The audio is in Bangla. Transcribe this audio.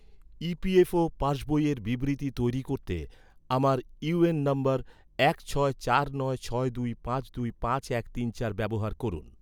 ই.পি.এফ.ও পাসবইয়ের বিবৃতি তৈরি করতে, আমার ইউএএন নম্বর এক ছয় চার নয় ছয় দুই পাঁচ দুই পাঁচ এক তিন চার ব্যবহার করুন